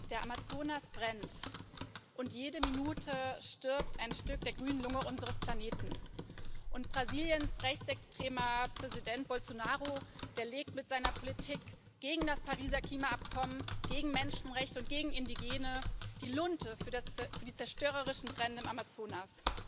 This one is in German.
Der Amazonas brennt, und jede Minute stirbt ein Stück der grünen Lunge unseres Planeten. Brasiliens rechtsextremer Präsident Bolsonaro legt mit seiner Politik gegen das Pariser Klimaabkommen, gegen Menschenrechte und gegen Indigene die Lunte für die zerstörerischen Brände im Amazonas.